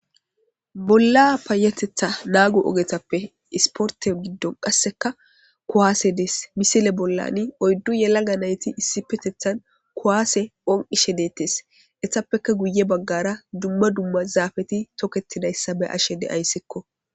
Bola paytethane nago ogetape sporte gidon qaseka kuwase des missile bolan oydu yelaga nayti ispetetan kuwase phonqishe detes etapeka guye bagara duma duma zafeti toketidaysa be'ashe daysko.